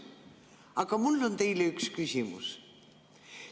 Aga mul on teile üks küsimus.